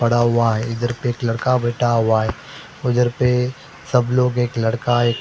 पड़ा हुआ है इधर पे एक लड़का बैठा हुआ है उधर पे सब लोग एक लड़का एक --